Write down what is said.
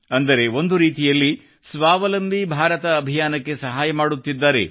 ಅಂದರೆ ಒಂದು ರೀತಿಯಲ್ಲಿ ಸ್ವಾವಲಂಬಿ ಭಾರತ ಅಭಿಯಾನಕ್ಕೆ ಸಹಾಯ ಮಾಡುತ್ತಿದ್ದಾರೆ